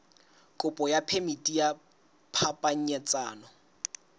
kopo ya phemiti ya phapanyetsano